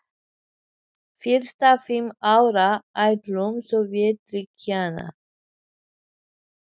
Biðraðir eru snar þáttur mannlífs í Sovétríkjunum, þær lúta sínum reglum og lögmálum.